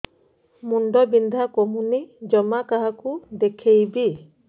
ମୁଣ୍ଡ ବିନ୍ଧା କମୁନି ଜମା କାହାକୁ ଦେଖେଇବି